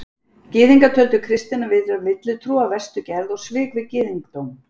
Gyðingar töldu kristnina vera villutrú af verstu gerð og svik við gyðingdóm.